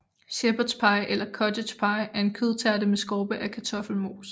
Shepherds pie eller cottage pie er en kødtærte med skorpe af kartoffelmos